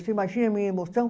Você imagina a minha emoção?